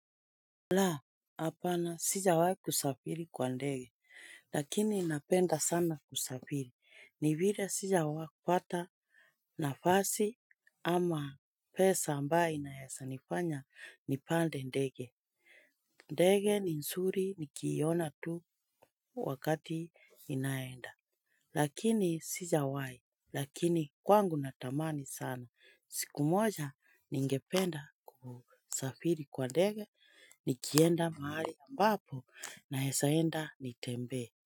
La, hapana sijawai kusafiri kwa ndege. Lakini napenda sana kusafiri. Ni vile sijawaipata nafasi ama pesa ambayo inaezanifanya nipande ndege. Ndege ni nzuri nikiiona tu wakati inaenda. Lakini sijawai, lakini kwangu natamani sana. Siku moja ningependa kusafiri kwa ndege. Nikienda mahali ambapo naezaenda nitembee.